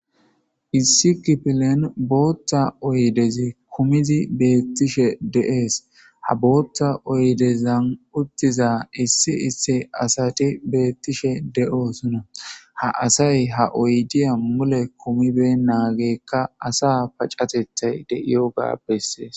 Issi kifilen booththa oydezi kumizi beeththishe de7ees; ha booththa oydezan uththiza issi issi asathi beeththishe de7oosona; ha asay ha oydiya mule kumibeynnaageekka asaa pacatheththay de7iyoogaa bessees.